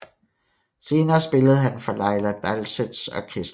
Senere spillede han for Laila Dalseths orkestre